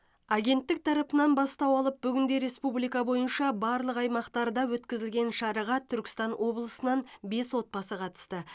агенттік тарапынан бастау алып бүгінде республика бойынша барлық аймақтарда өткізілген шараға түркістан облысынан бес отбасы қатысты